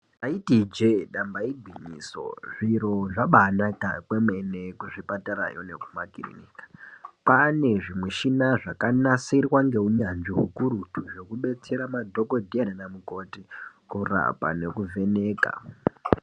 Taiti ijee damba igwinyiso zviro zvabaaanaka kwemene kuzvipatara yo nekumakirinika kwaane zvimushina zvakanasirwa ngeunyanzvi hukurutu zvekudetsera madhokodheya nanamukoti kurapa nekuvheneka.